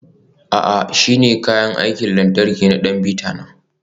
A'a, shi ne kayan aikin lantarki na don bita na.